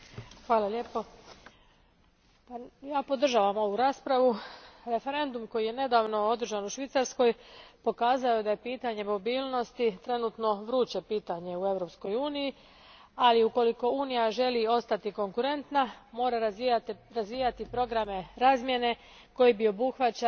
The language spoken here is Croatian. Gospodine predsjedniče, ja podržavam ovu raspravu. Referendum koji je nedavno održan u Švicarskoj pokazao je da je pitanje mobilnosti trenutno vruće pitanje u Europskoj uniji, ali ukoliko Unija želi ostati konkurentna, mora razvijati programe razmjene koji bi obuhvaćali i državljane trećih zemalja.